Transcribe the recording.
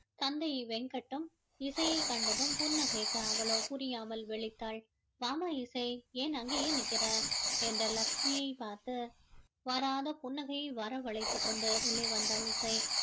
தந்தை வெங்கட்டும் இசையைக் கண்டு கண்டதும் புன்னகைக்க அவளோ புரியாமல் விழித்தாள் வாம்மா இசை ஏன் அங்கேயே நிற்கிற என்று லட்சுமியை பார்த்து வராத புன்னகையை வரவழைத்துக் கொண்டு உள்ளே வந்தாள் இசை